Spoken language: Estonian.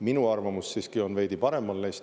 Minu arvamus siiski on neist veidi paremal.